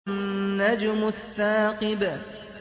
النَّجْمُ الثَّاقِبُ